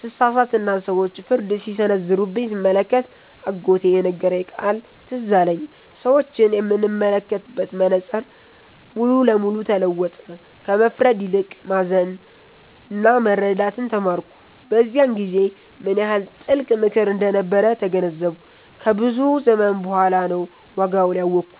ስሳሳትና ሰዎች ፍርድ ሲሰነዘሩብኝ ስመለከት፣ አጎቴ የነገረኝ ቃል ትዝ አለኝ። ሰዎችን የምመለከትበት መነጽር ሙሉ ለሙሉ ተለወጠ፤ ከመፍረድ ይልቅ ማዘንና መረዳትን ተማርኩ። በዚያን ጊዜ ምን ያህል ጥልቅ ምክር እንደነበር ተገነዘብኩ፤ ከብዙ ዘመን በኋላ ነው ዋጋውን ያወኩት።